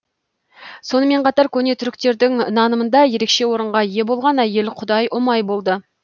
сонымен қатар көне түріктердің нанымында ерекше орынға ие болған әйел құдай ұмай болды